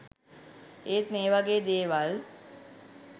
ඒත් මේ වගේ දේවල්